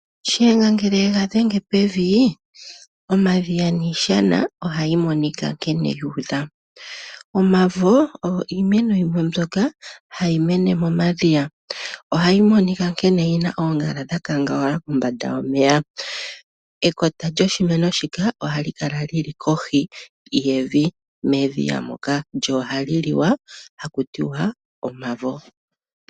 Shiyenga ngele adhenge pevi, omadhiya niishana ohayi monika nkene yuudha. Omavo ogo iimeno yimwe mbyoka hayi mene momadhiya. Ohayi monika nkene yina oongala dha kangawala kombanda yomeya. Ekota lyo shimeno shika ohali kala lili kohi yevi medhiya moka lyo ohali liwa hakutiwa omavo.